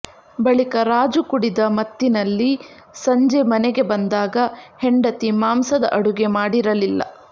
ಬಳಿಕ ರಾಜು ಕುಡಿದ ಮತ್ತಿನಲ್ಲಿ ಸಂಜೆ ಮನೆಗೆ ಬಂದಾಗ ಹೆಂಡತಿ ಮಾಂಸದ ಅಡುಗೆ ಮಾಡಿರಲಿಲ್ಲ